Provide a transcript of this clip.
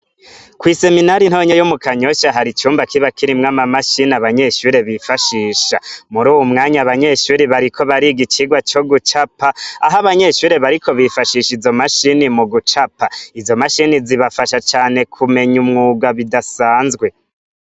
Kw'isominari ntonya yo mu Kanyosha hari icumba kiba kirimwo amamashini abanyeshure bifashisha. Muri uwu mwanya, abanyeshure bariko bariga icigwa co gucapa, aho abanyeshure bariko bifashisha izo mashini mu gucapa. Izo mashini zubafasha cane kumenya umwuga bidasanzwe.